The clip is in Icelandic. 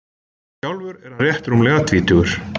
Sjálfur er hann rétt rúmlega tvítugur